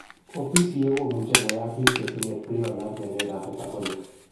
OPCA komuche koyap pik chetinye prion ak mionwek ap metabolic.